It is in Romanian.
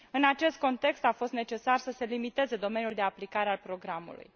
În acest context, a fost necesar să se limiteze domeniul de aplicare al programului.